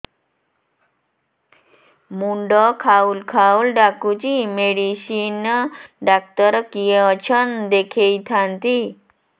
ମୁଣ୍ଡ ଖାଉଲ୍ ଖାଉଲ୍ ଡାକୁଚି ମେଡିସିନ ଡାକ୍ତର କିଏ ଅଛନ୍ ଦେଖେଇ ଥାନ୍ତି